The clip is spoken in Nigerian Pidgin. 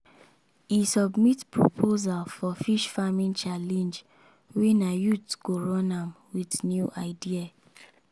e submit proposal for fish farming challenge wey na youth go run am with new idea.